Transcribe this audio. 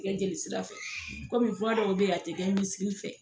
tɛ kɛ jelisira fɛ komi dɔw bɛ ye a tɛ kɛ misikili fɛ.